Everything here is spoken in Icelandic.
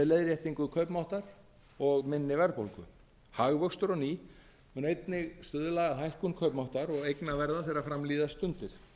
leiðréttingu kaupmáttar og minni verðbólgu hagvöxtur á ný mun einnig stuðla að hækkun kaupmáttar og eignaverða þegar fram líða stundir